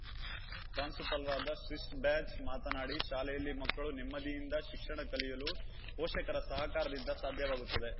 ಪ್ರಾಂಶುಪಾಲರಾದ sister Blanche ಮಾತನಾಡಿ ಶಾಲೆಯಲ್ಲಿ ಮಕ್ಕಳು ನೆಮ್ಮದಿಯಿಂದ ಶಿಕ್ಷಣ ಕಲಿಯಲು ಪೋಷಕರ ಸಹಕಾರದಿಂದ ಸಾಧ್ಯವಾಗುತ್ತದೆ